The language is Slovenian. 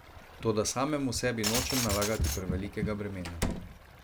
Toda samemu sebi nočem nalagati prevelikega bremena.